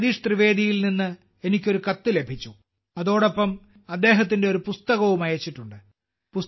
ജഗദീഷ് ത്രിവേദിയിൽ നിന്ന് എനിക്ക് ഒരു കത്ത് ലഭിച്ചു അതിനോടൊപ്പം അദ്ദേഹം അദ്ദേഹത്തിന്റെ ഒരു പുസ്തകവും അയച്ചിട്ടുണ്ട്